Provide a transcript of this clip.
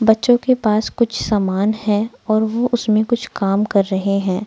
बच्चों के पास कुछ सामान है और वो उसमें कुछ काम कर रहे हैं।